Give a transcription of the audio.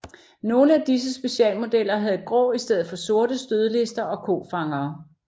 Nogle af disse specialmodeller havde grå i stedet for sorte stødlister og kofangere